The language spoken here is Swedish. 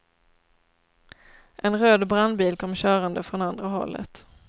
En röd brandbil kom körande från andra hållet.